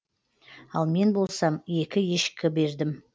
ал мен болсам екі ешкі бердім